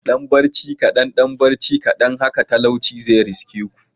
Dan barci kadan dan barci kadan haka talauci zai riske ku